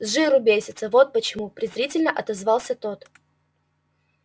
с жиру бесятся вот почему презрительно отозвался тот